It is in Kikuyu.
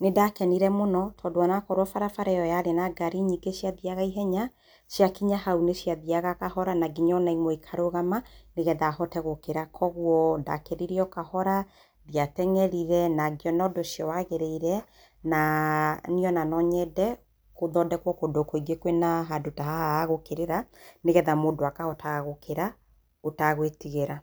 nĩndakenire mũno tondũ onakorwo barabara ĩyo yarĩ na ngari nyingĩ ciathiaga ihenya, ciakinya hau nĩciathiaga kahora nanginya onaimwe ikarũgama nĩgetha hote gũkĩra kwoguo ndakĩrire o kahora, ndiatengerire nangiona ũndũ ũcio wagĩrĩire na niĩ ona no nyende gũthondekwo kũndũ kũingĩ kwĩna handũ ta haha ha gũkĩrĩra nĩgetha mũndũ akahota gũkĩra ũtagwĩtigĩra.